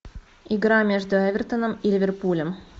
игра между эвертоном и ливерпулем